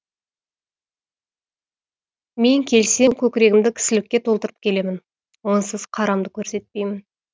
мен келсе көкірегімді кісілікке толтырып келемін онсыз қарамды көрсетпеймін